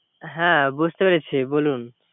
হ্যা বুঝতে পেরেছি বলুন